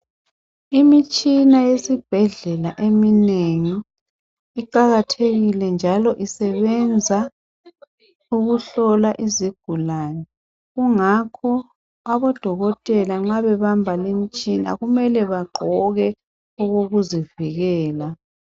Imitshina yesibhedlela eminengi iqakathekile njalo isebenza ukuhlola izigulane kungakho abodokotela nxa bebamba lemitshina kumele bagqoke okokuzivikela.